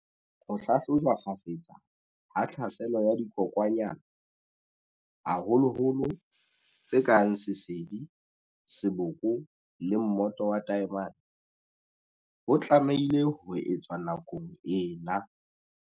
Ho hlahlojwa kgafetsa ha tlhaselo ya dikokwanyana, haholoholo tse kang sesedi, seboko le mmoto wa taemane, ho tlamehile ho etswa nakong ena.